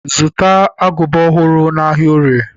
Zụta agụba ọhụrụ n'ahịa Orie!